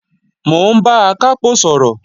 Mò ń bá Akápò sọ̀rọ̀